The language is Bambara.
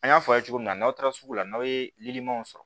An y'a fɔ aw ye cogo min na n'aw taara sugu la n'aw ye liliw sɔrɔ